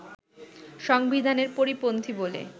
সংবিধানের পরিপন্থী বলে